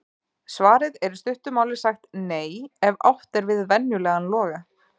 Svarið er í stuttu máli sagt NEI ef átt er við venjulegan loga.